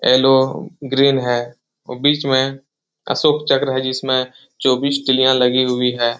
Yellow green है ऊ बीच में अशोक चक्र है जिसमे चौबीस तीलियाँ लगी हुई है।